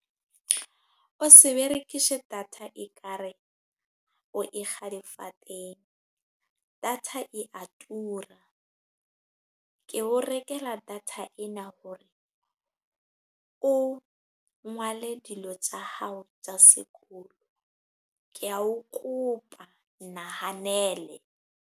O se berekise data ekare, o e kga difateng. Data e a tura. Ke o rekela data ena hore, o ngwale dilo tsa hao tsa sekolo. Ke a o kopa, nnahanele.